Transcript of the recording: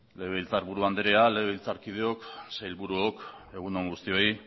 legebiltzarburu andrea legebiltzarkideok sailburuok egun on guztioi